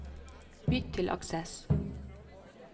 Bytt til Access